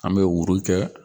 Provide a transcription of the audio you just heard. An bɛ kɛ